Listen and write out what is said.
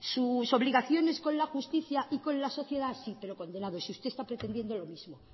sus obligaciones con la justicia y con la sociedad sí pero condenados y usted está pretendiendo lo mismo